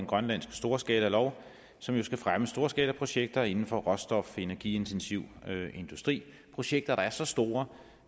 grønlandske storskalalov som jo skal fremme storskalaprojekter inden for råstof energiintensiv industri projekter som er så store